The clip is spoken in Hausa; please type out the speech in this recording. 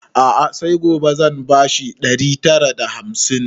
A'a sai gobe zan ba shi ɗari tara da hamsin